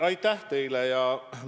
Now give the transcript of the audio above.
Aitäh teile!